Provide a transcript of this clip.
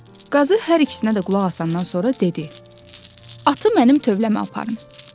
Qazı hər ikisinə də qulaq asandan sonra dedi: “Atı mənim tövləmə aparın.